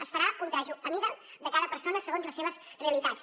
es farà un vestit a mida de cada persona segons les seves realitats